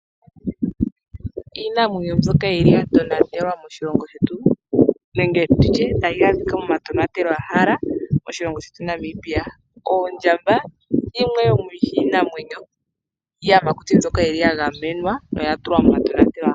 Iinamwenyo mbyoka yili ya tonatelwa moshilongo shetu nenge nditye tayi adhika momatonatelwahala moshilongo shetu Namibia. Oondjamba yimwe yomiiyamakuti mbyoka yili ya gamenwa noya tulwa momatonatelwahala.